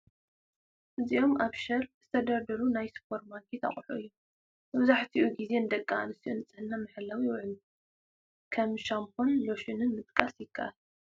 እዚኦም ኣብ ሸልፍ ዝተደርደሩ ናይ ሱፐርማርኬት ኣቑሑት እዮም፡፡ መብዛሕትኡ ጊዜ ንደቂ ኣንስትዮ ንፅህና መሐለው ይውዕሉ፡፡ ከም ሻምፖን ሎሽንን ምጥቃስ ይካኣል፡፡